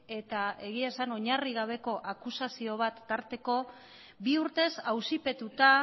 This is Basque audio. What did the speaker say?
eta egia esan oinarri gabeko akusazio bat tarteko bi urtez auzipetuta